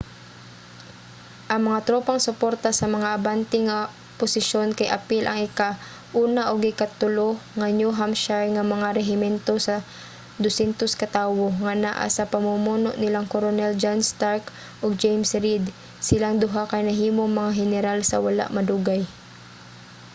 ang mga tropang suporta sa mga abante nga posisyon kay apil ang ika-1 ug ika-3 nga new hampshire nga mga rehimento sa 200 ka tawo nga naa sa pamumuno nilang koronel john stark ug james reed silang duha kay nahimong mga heneral sa wala madugay